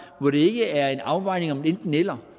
hvor det ikke er en afvejning om enten eller